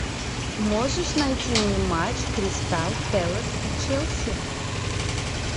можешь найти мне матч кристал пэлас и челси